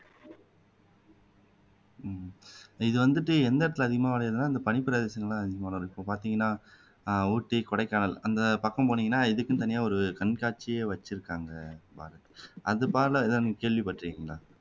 இது வந்துட்டு எந்த இடத்துல அதிகமா விளையுதுன்னா இந்த பனிப்பிரதேசத்திலதான் அதிகமா வளரும் இப்போ பாத்தீங்கன்னா ஹம் ஊட்டி கொடைக்கானல் அந்தப்பக்கம் போனீங்கன்னா இதுக்குன்னு தனியா ஒரு கண்காட்சியே வச்சிருக்காங்க எதாவது கேள்விப்பட்டிருக்கீங்களா